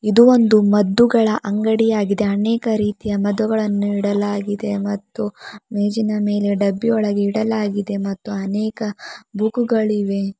ಇದು ಒಂದು ಮದ್ದುಗಳ ಅಂಗಡಿಯಾಗಿದೆ ಅನೇಕ ರೀತಿಯ ಮದ್ದುಗಳನ್ನು ಇಡಲಾಗಿದೆ ಮತ್ತು ಮೇಜಿನ ಮೇಲೆ ಡಬ್ಬಿಯೊಳಗೆ ಇಡಲಾಗಿದೆ ಮತ್ತು ಅನೇಕ ಬುಕ್ಕುಗಳಿವೆ.